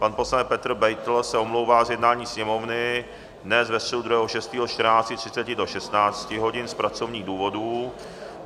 Pan poslanec Petr Beitl se omlouvá z jednání Sněmovny dnes ve středu 2. 6. od 14.30 do 16 hodin z pracovních důvodů.